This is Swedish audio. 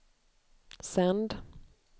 sänd